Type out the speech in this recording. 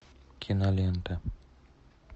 кинолента